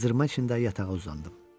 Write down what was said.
Qızdırma içində yatağa uzandım.